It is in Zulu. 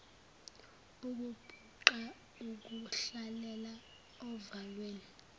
ukubhuqa ukuhlalela ovalweni